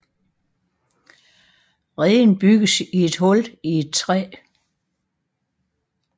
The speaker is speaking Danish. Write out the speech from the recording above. Reden bygges i et hul i et træ